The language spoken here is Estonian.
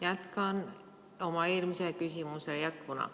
Jätkan oma eelmise küsimuse jätkuna.